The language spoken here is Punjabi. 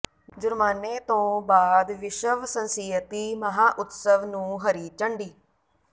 ਜੁਰਮਾਨੇ ਤੋਂ ਬਾਅਦ ਵਿਸ਼ਵ ਸੰਸਿਯਤੀ ਮਹਾਉਤਸਵ ਨੂੰ ਹਰੀ ਝੰਡੀ